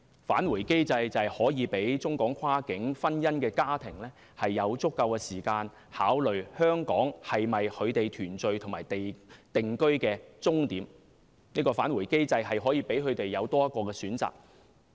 "返回機制"便可以讓中港跨境婚姻家庭有足夠時間，考慮香港是否他們團聚和定居的終點，"返回機制"可以讓他們有多一個選擇。